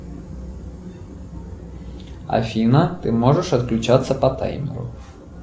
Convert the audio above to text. афина ты можешь отключаться по таймеру